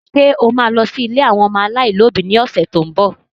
Ṣé o ma lọ sí ilé àwọn ọmọ aláìlóbi lọ́sẹ̀ tó ń bọ̀?